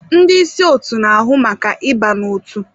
Ndị ịsị otu n'ahụ maka ịba n'otu.